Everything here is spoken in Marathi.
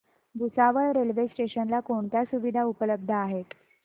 भुसावळ रेल्वे स्टेशन ला कोणत्या सुविधा उपलब्ध आहेत